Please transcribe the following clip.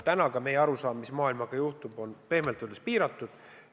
Eks ka meie arusaam, mis maailmaga juhtub, on pehmelt öeldes piiratud.